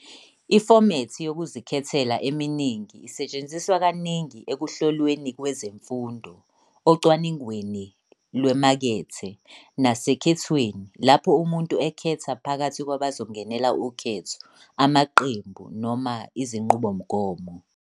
Ifomethi yokuzikhethela eminingi isetshenziswa kaningi ekuhlolweni kwezemfundo, ocwaningweni lwemakethe, nasekhethweni, lapho umuntu ekhetha phakathi kwabazongenela ukhetho, amaqembu, noma izinqubomgomo.